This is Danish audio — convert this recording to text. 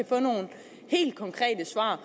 få nogle helt konkrete svar